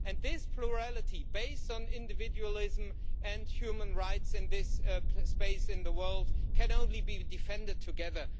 this plurality based on individualism and human rights in this space in the world can only be defended together.